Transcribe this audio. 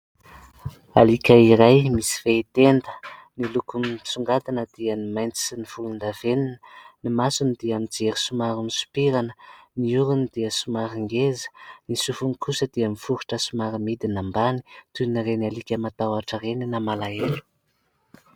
Alika iray misy fehi-tenda, ny lokony misongadina dia ny mainty sy volondavenona, ny masony dia mijery somary misopirana, ny orony dia somary ngeza, ny sofiny kosa dia miforitra somary midina ambany toan'ireny alika matahotra ireny na malahelo.